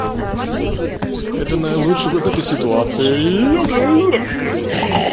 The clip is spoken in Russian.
это наилучший выход из ситуации